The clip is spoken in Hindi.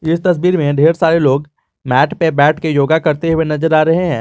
इस तस्वीर में ढेर सारे लोग मैट पे बैठकर योगा करते हुए नजर आ रहे हैं।